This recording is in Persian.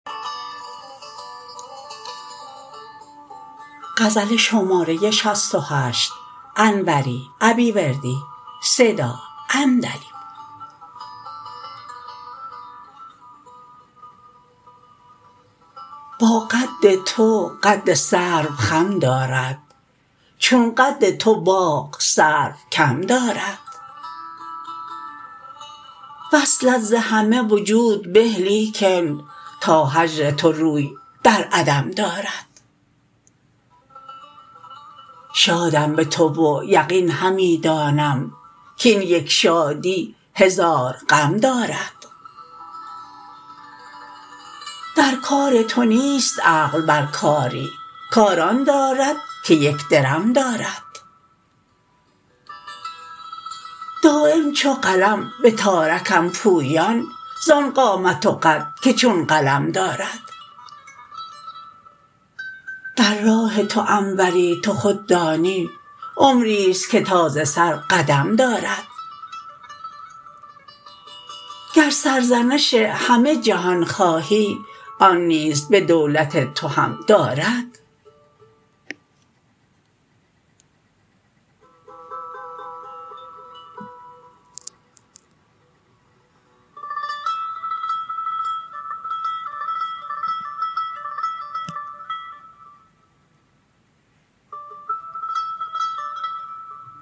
با قد تو قد سرو خم دارد چون قد تو باغ سرو کم دارد وصلت ز همه وجود به لیکن تا هجر تو روی در عدم دارد شادم به تو و یقین همی دانم کین یک شادی هزار غم دارد در کار تو نیست عقل بر کاری کار آن دارد که یک درم دارد دایم چو قلم به تارکم پویان زان قامت و قد که چون قلم دارد در راه تو انوری تو خود دانی عمریست که تا ز سر قدم دارد گر سرزنش همه جهان خواهی آن نیز به دولت تو هم دارد